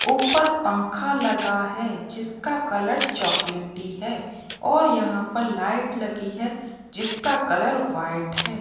ऊपर पंखा लगा है जिसका कलर चॉकलेटी है और यहां पर लाइट लगी है जिसका कलर व्हाइट है।